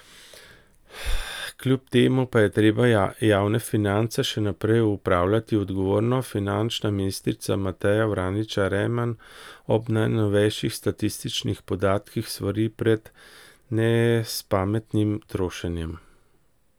Kljub temu pa je treba javne finance še naprej upravljati odgovorno, finančna ministrica Mateja Vraničar Erman ob najnovejših statističnih podatkih svari pred nespametnim trošenjem.